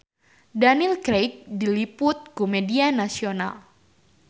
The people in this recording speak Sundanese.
Daniel Craig diliput ku media nasional